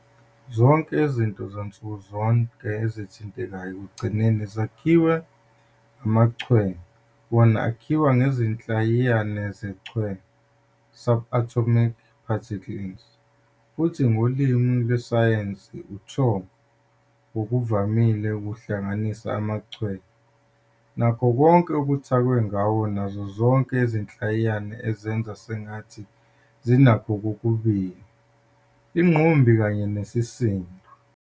Zonke izinto zansukuzonke ezithintekayo ekugcineni zakhiwa amaChwe, wona akhiwa izinhlayiyana zechwe, "subatomic particles", futhi ngokolimi lwesayensi, "uTho" ngokuvamile luhlanganisa amaChwe nakho konke okuthakwe ngawo, nazo zonke izinhlayiyana ezenza sengathi zinakho kokubili, ingqumbi kanye nesisindo.